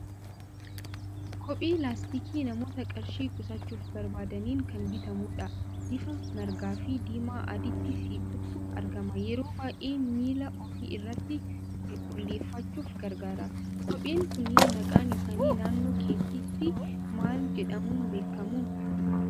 Kophee laastikii namoota qarshii qusachuuf barbaadaniin kan bitamudha. Bifa margaa fi diimaa adiitti siqutu argama. Yeroo baay'ee miilla ofii irratti qulqulleeffachuuf gargaara. Kopheen kunneen maqaan isaanii naannoo keetti maal jedhamuun beekamu?